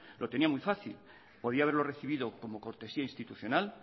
lo tenía muy fácil podía haberlo recibido como cortesía institucional